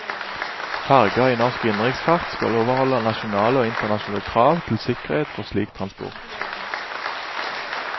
Ferger i norsk innenriksfart skal overholde nasjonale og internasjonale krav til sikkerhet for slik transport.